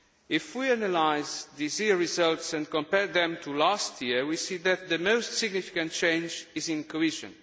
so. If we analyse this year's results and compare them to last year, we see that the most significant change is in cohesion.